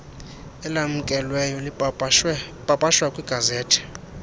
elamkelweyo lipapashwa kwigazethi